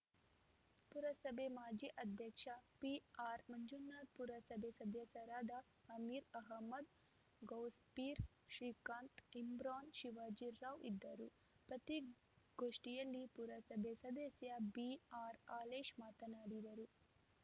ಪುರಸಭೆ ಮಾಜಿ ಅಧ್ಯಕ್ಷ ಪಿಆರ್‌ ಮಂಜುನಾಥ್‌ ಪುರಸಭೆ ಸದಸ್ಯರಾದ ಅಮೀರ್‌ ಅಹ್ಮದ್‌ ಗೌಸ್‌ಪೀರ್‌ ಶ್ರೀಕಾಂತ್‌ ಇಮ್ರಾನ್‌ ಶಿವಾಜಿ ರಾವ್‌ ಇದ್ದರು ಪತ್ರಿಕ್ ಗೋಷ್ಠಿಯಲ್ಲಿ ಪುರಸಭೆ ಸದಸ್ಯ ಬಿಆರ್‌ ಹಾಲೇಶ್‌ ಮಾತನಾಡಿದರು